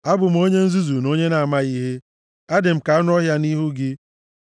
Abụ m onye nzuzu na onye na-amaghị ihe. Adị m ka anụ ọhịa nʼihu gị.